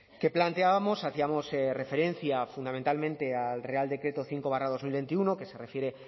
que planteábamos hacíamos referencia fundamentalmente al real decreto cinco barra dos mil veintiuno que se refiere